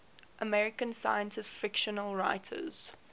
american science fiction writers